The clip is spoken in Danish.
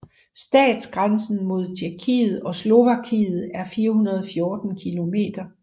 Statsgrænsen mod Tjekkiet og Slovakiet er 414 km